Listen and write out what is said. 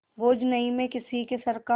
बोझ नहीं मैं किसी के सर का